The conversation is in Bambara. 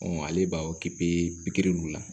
ale b'a pikiri ninnu la